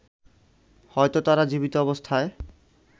হয়তো তারা জীবিত অবস্থায়